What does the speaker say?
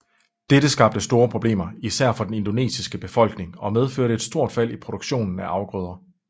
Dette skabte store problemer især for den indonesiske befolkning og medførte et stort fald i produktionen af afgrøder